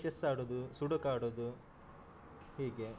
Chess ಆಡುದು, sudoku ಆಡುದು ಹೀಗೆ.